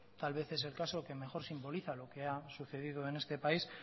tal vez es el caso que mejor simboliza lo que ha sucedido en este país